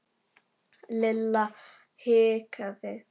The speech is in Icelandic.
Lilla hikaði.